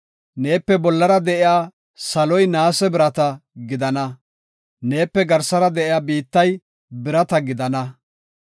Neepe bollara de7iya saloy naase birata gidana; neepe garsara de7iya biittay birata gidana.